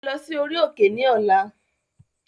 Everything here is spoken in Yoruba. Ẹ lọ sí orí òkè ní ọ̀la.